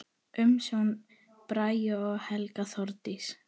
Umsjón: Bragi og Helga Þórdís.